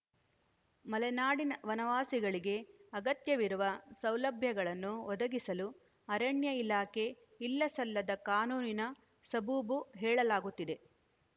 ಮಲೆನಾಡಿನ ವನವಾಸಿಗಳಿಗೆ ಅಗತ್ಯವಿರುವ ಸೌಲಭ್ಯಗಳನ್ನು ಒದಗಿಸಲು ಅರಣ್ಯ ಇಲಾಖೆ ಇಲ್ಲಸಲ್ಲದ ಕಾನೂನಿನ ಸಬೂಬು ಹೇಳಲಾಗುತ್ತಿದೆ